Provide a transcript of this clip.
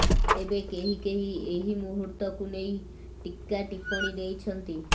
ତେବେ କେହି କେହି ଏହି ମୁହୂର୍ତ୍ତକୁ ନେଇ ଟୀକାଟିପ୍ପଣୀ ଦେଇଛନ୍ତି